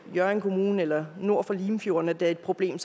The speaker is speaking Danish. i hjørring kommune eller nord for limfjorden at det er et problem